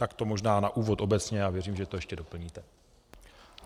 Tak to možná na úvod obecně a věřím, že to ještě doplníte.